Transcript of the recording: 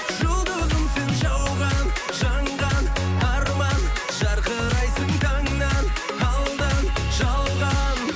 жұлдызым сен жауған жанған арман жарқырайсың таңнан алдан жалған